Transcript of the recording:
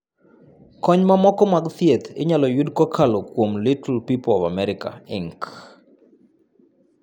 Kony mamoko mag thieth inyalo yud kokalo kuom Little People of America, Inc.